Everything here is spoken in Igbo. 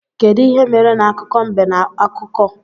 Kedụ ihe mere na akụkọ mbe na ọkụkọ?